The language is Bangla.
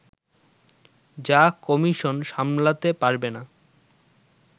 যা কমিশন সামলাতে পারবে না